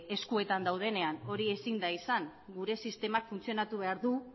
eskuetan daudenean hori ezin da izan gure sistemak funtzionatu behar du